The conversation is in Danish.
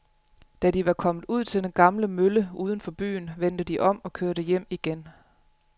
Da de var kommet ud til den gamle mølle uden for byen, vendte de om og kørte hjem igen.